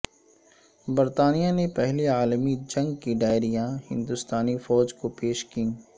برطانیہ نے پہلی عالمی جنگ کی ڈائریاں ہندستانی فوج کو پیش کیں